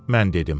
Mən dedim.